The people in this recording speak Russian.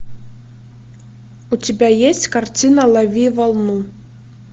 у тебя есть картина лови волну